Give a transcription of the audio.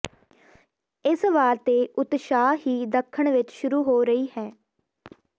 ਇਸ ਵਾਰ ਤੇ ਉਤਸ਼ਾਹ ਹੀ ਦੱਖਣ ਵਿੱਚ ਸ਼ੁਰੂ ਹੋ ਰਹੀ ਹੈ